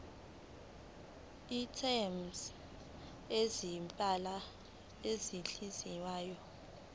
items zezimpahla ezingeniswayo